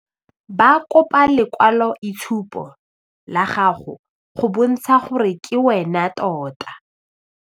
Ba kopa lekwalo-itshupo la gago go bontsha gore ke wena tota.